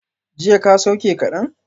Jiya ka sauke kadan?